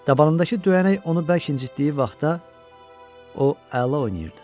Dabanındakı döyənək onu bərk incitdiyi vaxtda o əla oynayırdı.